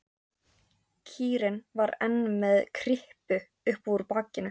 Kýrin var enn með kryppu upp úr bakinu.